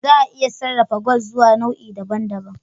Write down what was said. Za a iya sarrafa gwal zuwa nau'i daban daban